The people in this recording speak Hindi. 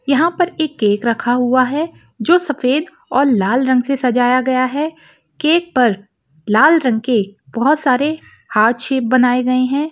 यहां पर एक केक रखा हुआ है जो सफेद और लाल रंग से सजाया गया है केक पर लाल रंग के बहोत सारे हार्ट शेप बनाए गए हैं।